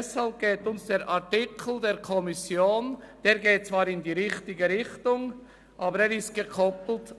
Zwar geht der Artikel der Kommission in die richtige Richtung, aber ist